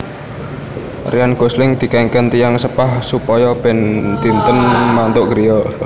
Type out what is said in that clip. Ryan Gosling dikengken tiyang sepah supaya ben dinten mantuk griya